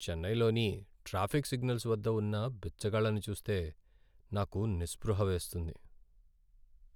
చెన్నైలోని traffic signals వద్ద ఉన్న బిచ్చగాళ్లను చూస్తే నాకు నిస్పృహ వేస్తుంది.